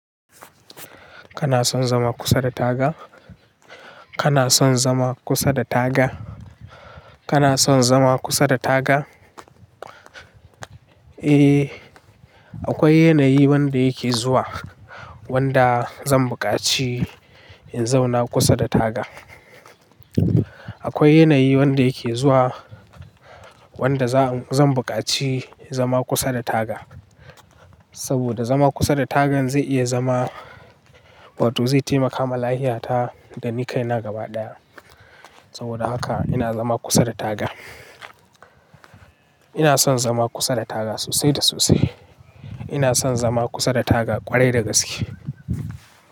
Kana son zama kusa da taga? Kana son zama kusa da taga? Kana son zama kusa da taga? Eh, akwai yanayi wanda yake zuwa wanda zan buƙaci in zauna kusa da taga. Akwai yanayi wanda yake zuwa wanda zan buƙaci zama kusa da taga. Saboda zama kusa da tagan zai iya zama wato zai taimaka malahiyata da ni kai na gaba ɗaya. Saboda haka ina zama kusa da taga. Ina son zama kusa da taga sosai da sosai. Ina son zama kusa da taga ƙwarai da gaske.